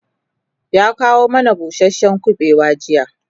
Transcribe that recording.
ya kawo mana busashen kubewa jiya